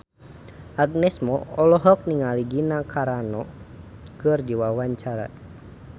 Agnes Mo olohok ningali Gina Carano keur diwawancara